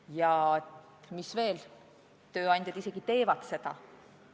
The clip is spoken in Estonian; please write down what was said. Ja mis veel, tööandjad isegi teevad seda!